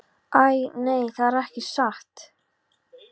Æ, nei, það er ekki satt.